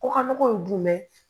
Kɔkɔ ye jumɛn ye